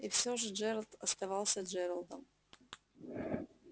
и все же джералд оставался джералдом